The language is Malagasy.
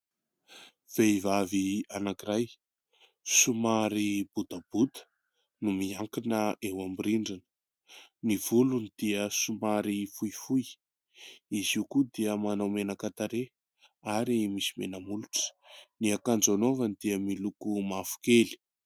Vehivavy anankiray somary botabota no miankina eo amin'ny rindrina. Ny volony dia somary fohifohy, izy io koa dia manao menaka tarehy ary misy menamolotra. Ny akanjo anaovany dia miloko mavokely.